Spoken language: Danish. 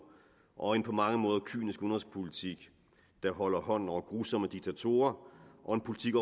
og en på mange måder kynisk udenrigspolitik der holder hånden over grusomme diktatorer og en politik